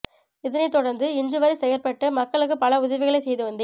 இதனை தொடர்ந்து இன்று வரை செயற்பட்டு மக்களுக்கு பல உதவிகளை செய்து வந்தேன்